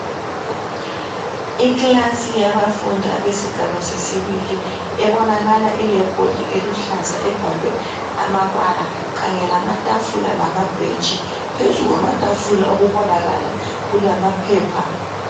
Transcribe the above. Ikilasi yabafundi abesigaba sesibili ebonakala ilebhodi eluhlaza ebhalwe amabala kanye lamatafula lamabhentshi, phezu kwamatafula okubonakala kulamaphepha.